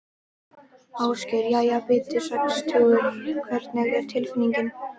Ásgeir: Jæja Bubbi, sextugur hvernig er tilfinningin?